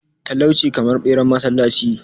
talauci kamar beran masallaci